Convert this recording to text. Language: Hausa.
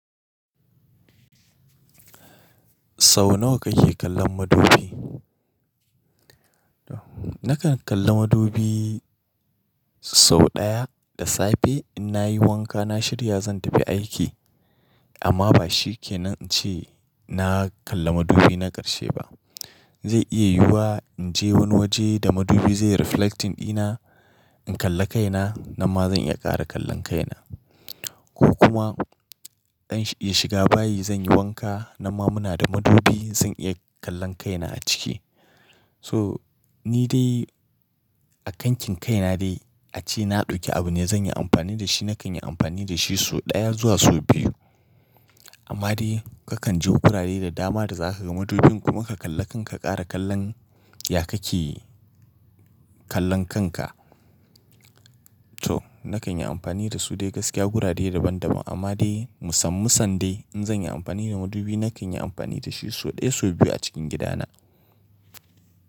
Sau nawa kake kallon madubi? Nakan kalla madubi sau ɗaya da safe in na yi wanka na shirya zan tafi aiki. Amma ba shikenan ince na kalla madubi na ƙarshe ba. Ze iya yiyuwa inje wani waje da madubi ze reflecting dina, in kalla kaina nan ma zan iya kara kallon kaina. Ko kuma in shiga bayi zanyi wanka nan ma muna da madubi zan iya kallon kaina a ciki to nidai a kankin kaina dai ace na dauki abu ne zanyi amfani dashi nakan yi amfani dashi sau daya zuwa sau biyu. Amma dai kakan je gurare da dama da zaka ga madubin kuma ka kalla kanka ka kara kallon ya kake kallon kanka to nakan yi amfani dasu dai gaskiya dai gurare daban daban amma dai musan musan dai in zanyi amfani da madubi nakan yi amfani dashi sau daya sau biyu a cikin gida na.